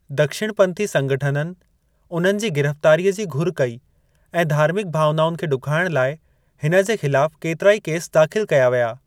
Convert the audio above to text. दक्षिणपंथी संगठननि उन्हनि जी गिरफ्तारीअ जी घुर कई ऐं धार्मिक भावनाउनि खे ॾुखाइण लाइ हिन जे खिलाफ केतिराई केस दाखिल कया विया।